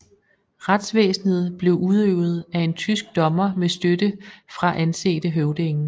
Retsvæsenet blev udøvet af en tysk dommer med støtte fra ansete høvdinge